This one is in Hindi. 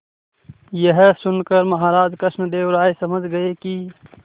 यह सुनकर महाराज कृष्णदेव राय समझ गए कि